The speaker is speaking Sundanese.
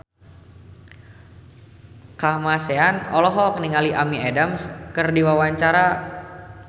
Kamasean olohok ningali Amy Adams keur diwawancara